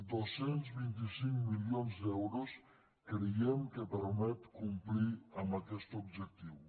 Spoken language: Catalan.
dos cents i vint cinc milions d’euros creiem que permeten complir aquest objectiu